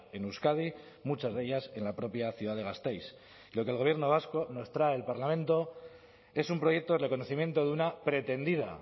en euskadi muchas de ellas en la propia ciudad de gasteiz lo que el gobierno vasco nos trae al parlamento es un proyecto de reconocimiento de una pretendida